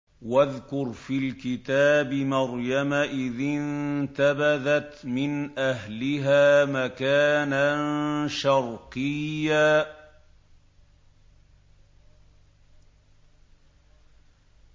وَاذْكُرْ فِي الْكِتَابِ مَرْيَمَ إِذِ انتَبَذَتْ مِنْ أَهْلِهَا مَكَانًا شَرْقِيًّا